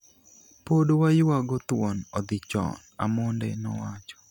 pod waywago thuon odhi chon, Amonde nowacho